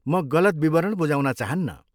म गलत विवरण बुझाउन चाहन्नँ।